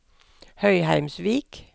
Høyheimsvik